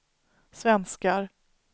svenskar